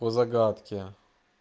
по загадке